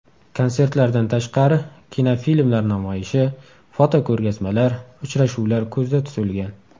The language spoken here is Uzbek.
Konsertlardan tashqari, kinofilmlar namoyishi, fotoko‘rgazmalar, uchrashuvlar ko‘zda tutilgan.